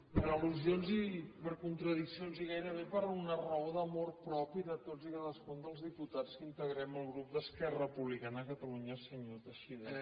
per al·lusions i per contradiccions i gairebé per una raó d’amor propi de tots i cadascun dels diputats que integrem el grup d’esquerra republicana de catalunya senyor teixidó